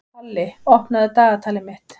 Palli, opnaðu dagatalið mitt.